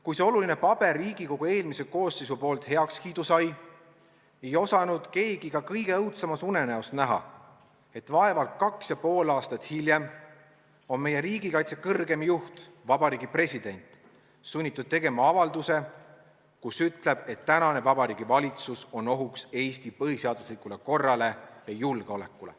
Kui see oluline paber Riigikogu eelmises koosseisus heakskiidu sai, ei osanud keegi ka kõige õudsemas unenäos näha, et vaevalt kaks ja pool aastat hiljem on meie riigikaitse kõrgeim juht, Vabariigi President sunnitud tegema avalduse, kus ütleb, et praegune Vabariigi Valitsus on ohuks Eesti põhiseaduslikule korrale ja julgeolekule.